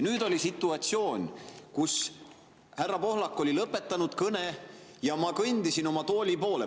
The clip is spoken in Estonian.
Nüüd oli situatsioon, kus härra Pohlak oli lõpetanud kõne ja ma kõndisin oma tooli poole.